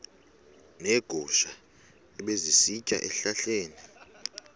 neegusha ebezisitya ezihlahleni